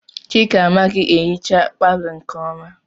Chika amaghị ehicha palọ nke ọma.